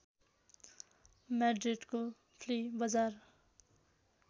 म्याड्रिडको flea बजार